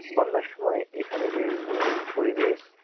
বন্যার সময় এখানে যেই মনোরম পরিবেশ